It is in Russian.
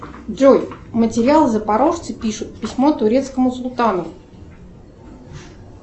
джой материал запорожцы пишут письмо турецкому султану